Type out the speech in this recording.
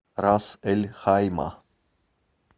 рас эль хайма